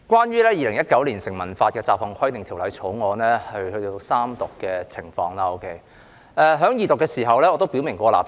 《2019年成文法條例草案》已進入三讀階段，而我在二讀辯論時已表明我的立場。